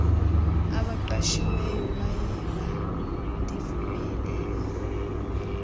abaqashiweyo bayeba ndivumeleni